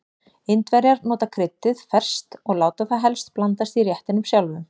Indverjar nota kryddið ferskt og láta það helst blandast í réttinum sjálfum.